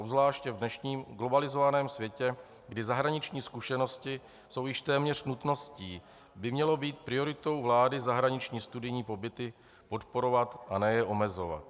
Obzvláště v dnešním globalizovaném světě, kdy zahraniční zkušenosti jsou již téměř nutností, by mělo být prioritou vlády zahraniční studijní pobyty podporovat, a ne je omezovat.